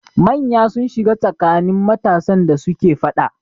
Manya sun shiga tsakanin matasan da suke faɗa.